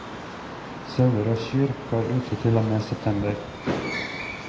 Sauer og kyr går ute til og med september.